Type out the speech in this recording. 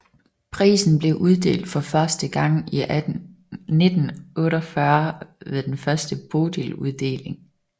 Prisen blev uddelt for første gang i 1948 ved den første Bodiluddeling